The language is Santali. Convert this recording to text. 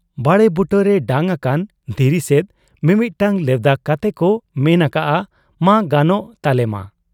ᱵᱟᱲᱮ ᱵᱩᱴᱟᱹᱨᱮ ᱰᱟᱺᱜᱽ ᱟᱠᱟᱱ ᱫᱷᱤᱨᱤ ᱥᱮᱫ ᱢᱤᱢᱤᱫᱴᱟᱹᱝ ᱞᱮᱣᱫᱟ ᱠᱟᱛᱮᱠᱚ ᱢᱮᱱ ᱟᱠᱟᱜ ᱟ, 'ᱢᱟ ᱜᱟᱱᱚᱜ ᱛᱟᱞᱮᱢᱟ ᱾'